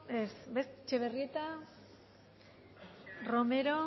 ez etxebarrieta romero